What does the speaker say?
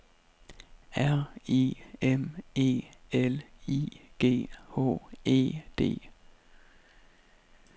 R I M E L I G H E D